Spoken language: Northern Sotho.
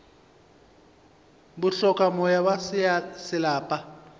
bo hloka moya wa selapa